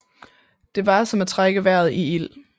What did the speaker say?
Det var som at trække vejret i ild